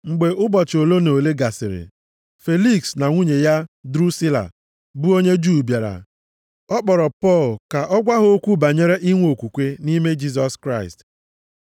Mgbe ụbọchị ole na ole gasịrị, Feliks na nwunye ya Drusila, bụ onye Juu bịara, ọ kpọrọ Pọl ka ọ gwa ha okwu banyere inwe okwukwe nʼime Jisọs Kraịst.